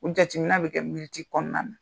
O jateminɛ bi kɛ kɔnɔna na.